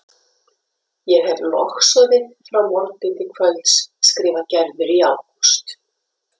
Ég hefi logsoðið frá morgni til kvölds skrifar Gerður í ágúst.